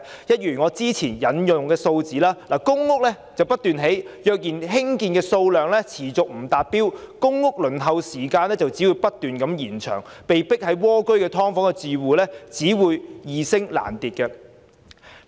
一如我之前引用的數字，即使不斷興建公屋，如果興建的數量持續不達標，公屋輪候時間只會不斷延長，被迫蝸居於"劏房"的住戶數目只會易升難跌。